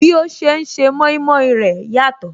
Bí ó ṣe ń se mọimọi rẹ̀ yàtọ̀